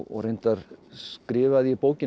reyndar skrifaði ég bókina